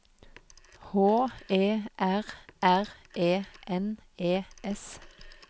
H E R R E N E S